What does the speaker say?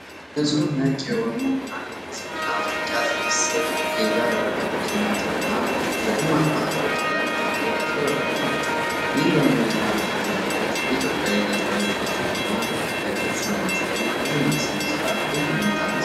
ንጹሕ ነጭ የሆኑት የእነዚህ ቡና መጠጫ ስብስብ (ፊንጃል፣ ረከቦትና ጀበና) በደማቅ ባህላዊ ቀለም ጥለት ያሸበረቁ ናቸው። ይህ ዘመናዊና ባህላዊ ውህደት የኢትዮጵያ የእደ-ጥበብ ውበትን በግልጽ በማሳየት ለቡና ሥነ-ሥርዓት ልዩ እይታን ይሰጣል።